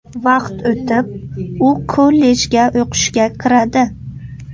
Vaqt o‘tib, u kollejga o‘qishga kiradi.